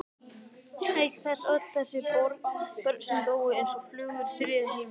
Auk þess öll þessi börn sem dóu eins og flugur í þriðja heiminum.